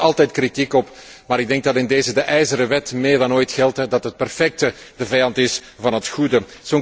Daar komt altijd kritiek op, maar ik denk dat in deze de ijzeren wet meer dan ooit geldt dat het perfecte de vijand is van het goede.